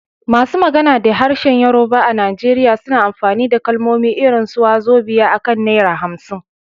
Masu magana da harshen Yorùbá a Najeriya suna amfani da kalmomi irin su "wàzobíà" akan naira 50